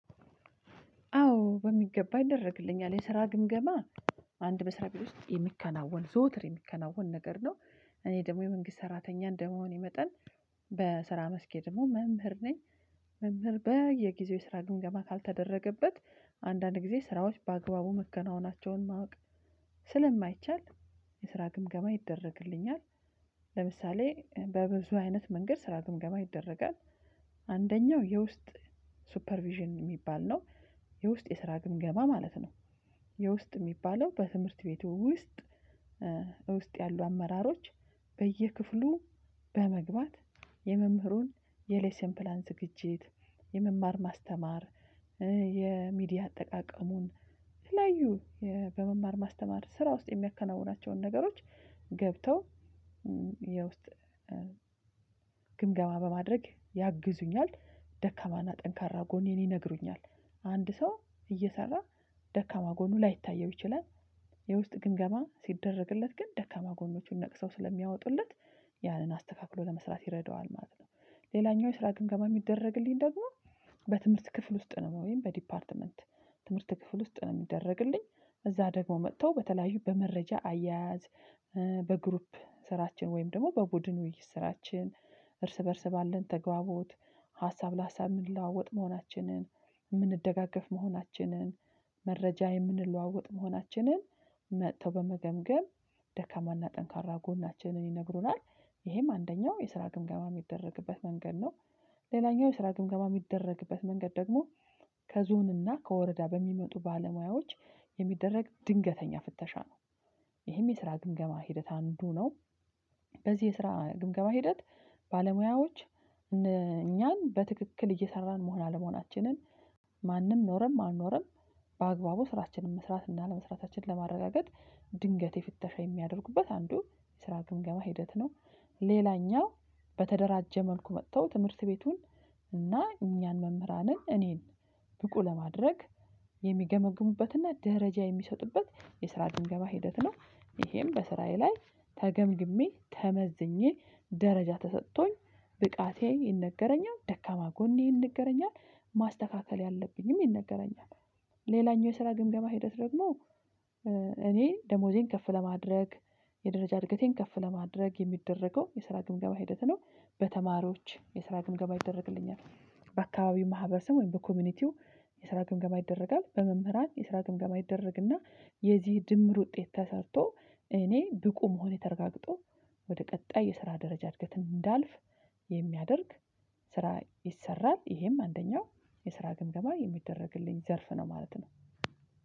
አዎ በሚገባ ይደረግልኛል የስራ ግምገማ አንድ መስሪያ ቤት ውስጥ የሚከናወን ዘወትር የሚከናወን ነገር ነው። እኔ ደግሞ የመንግስት ሰራተኛ እንደመሆኔ መጠን በስራ መስኬ ደግሞ መምህር ነኝ። መምህር በየጊዜው የስራ ግምገማ ካልተደረገበት አንዳንድ ጊዜ ስራዎች በአግባቡ ማከናወናቸውን ማወቅ ስለማይቻል የስራ ግምገማ ይደረግልኛል። ለምሳሌ በብዙ አይነት መንገድ ስራ ግምገማ ይደረጋል። አንደኛው የውስጥ ሱፐር ቪዥን የሚባል ነው የውስጥ የስራ ግምገማ ማለት ነው። የውስጥ የሚባለው በትምህርት ቤቱ ውስጥ ውስጥ ያሉ አመራሮች በየክፍሉ በመግባት የመምህሩን የሌሰን ፕላን ዝግጅት የመማር ማስተማር የሚዲያ አጠቃቀሙን የተለያዩ በመማር ማስተማር ስራ ውስጥ የሚያከናውናቸውን ነገሮች ገብተው የውስጥ ግምገማ በማድረግ ያግዙኛል ደካማና ጠንካራ ጎኔን ይነግሩኛል። አንድ ሰው እየሰራ ደካማ ጎኑ ላይታየው ይችላል የውስጥ ግምገማ ሲደረግለት ግን ደካማ ጎኖቹን ነቅሰው ስለሚያወጡለት ያንን አስተካክሎ ለመስራት ይረዳዋል ማለት ነው። ሌላኛው የስራ ግምገማ የሚደረግልኝ ደግሞ በትምህርት ክፍል ውስጥ ነው ወይም በዲፓርትመንት ትምህርት ክፍል ውስጥ ነው የሚደረግልኝ። እዚያ ደግሞ መጥተው በተለያዩ በመረጃ አያያዝ በግሩፕ ስራችን ወይም ደግሞ በቡድኑ ስራችን እርስ በእርስ ባለን ተግባቦት ሀሳብ ለሀሳብ የምንለዋወጥ መሆናችንን የምንደጋገፍ መሆናችንን መረጃ የምንለዋወጥ መሆናችንን መጥተው በመገምገም ደካማና ጠንካራ ጎናችንን ይነግሩናል። ይሄም አንደኛው የስራ ግምገማ የሚደረግበት መንገድ ነው። ሌላኛው የስራ ግምገማ የሚደረግበት መንገድ ደግሞ ከዞንና ከወረዳ በሚመጡ ባለሙያዎች የሚደረግ ድንገተኛ ፍተሻ ነው። ይህም የስራ ግምገማ ሂደት አንዱ ነው። በዚህ የስራ ግምገማ ሂደት ባለሙያዎች እኛን በትክክል እየሰራን መሆን አለመሆናችንን ማንም ኖረም አልኖረም በአግባቡ ስራችንን መስራት እና አለመስራታችን ለማረጋገጥ ድንገት የፍተሻ የሚያደርጉበት አንዱ የስራ ግምገባ ሂደት ነው። ሌላኛው በተደራጀ መልኩ መጥተው ትምህርት ቤቱን እና እኛን መምህራንን እኔን ብቁ ለማድረግ የሚገመግሙበትና ደረጃ የሚሰጡበት የስራ ግምገማ ሂደት ነው። ይሄም በስራዬ ላይ ተገምግሜ ተመዝኜ ደረጃ ተሰጥቶኝ ብቃቴ ይነገረኛል ደካማ ጎኔ ይነገረኛል ማስተካከል ያለብኝም ይነገረኛል። ሌላኛው የስራ ግምገማ ሂደት ደግሞ እኔ ደሞዜን ከፍ ለማድረግ የደረጃ እድገቴን ከፍ ለማድረግ የሚደረገው የስራ ግምገማ ሂደት ነው። በተማሪዎች የስራ ግምገማ ይደረግልኛል በአካባቢው ማህበረሰብ ወይም በኮሚኒቲው የስራ ግምገማ ይደረጋል በመምህራን የስራ ግምገማ ይደረግና የዚህ ድምር ውጤት ተሰርቶ እኔ ብቁ መሆን ተረጋግጦ ወደ ቀጣይ የስራ ደረጃ እድገት እንዳልፍ የሚያደርግ ስራ ይሰራል። ይሄም አንደኛው የስራ ግምገማ የሚደረግልኝ ዘርፍ ነው ማለት ነው።